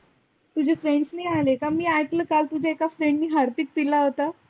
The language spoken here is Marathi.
तुझे friend नाही आले का? मी आइकल होत काल तुझ्या एका friend नी harpic पीला होता.